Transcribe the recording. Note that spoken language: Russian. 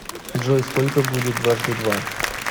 джой сколько будет дважды два